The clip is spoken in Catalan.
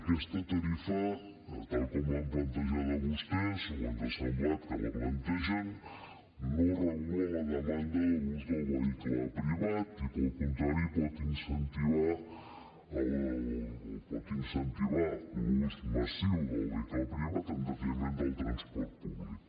aquesta tarifa tal com l’han plantejada vostès o ens ha semblat que la plantegen no regula la demanda de l’ús del vehicle privat i per contra pot incentivar l’ús massiu del vehicle privat en detriment del transport públic